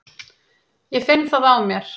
Ég finn það á mér.